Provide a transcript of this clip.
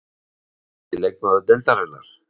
Grófasti leikmaður deildarinnar?